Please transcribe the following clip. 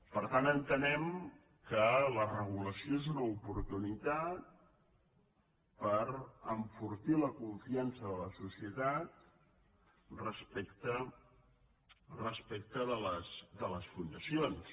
per tant entenem que la regulació és una oportunitat per enfortir la confiança de la societat respecte de les fundacions